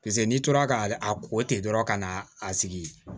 Paseke n'i tora ka a ko ten dɔrɔn ka na a sigi